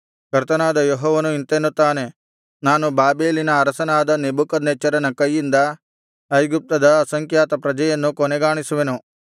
ಕರ್ತನಾದ ಯೆಹೋವನು ಇಂತೆನ್ನುತ್ತಾನೆ ನಾನು ಬಾಬೆಲಿನ ಅರಸನಾದ ನೆಬೂಕದ್ನೆಚ್ಚರನ ಕೈಯಿಂದ ಐಗುಪ್ತದ ಅಸಂಖ್ಯಾತ ಪ್ರಜೆಯನ್ನು ಕೊನೆಗಾಣಿಸುವೆನು